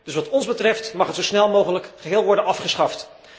Dus wat ons betreft mag het zo snel mogelijk geheel worden afgeschaft.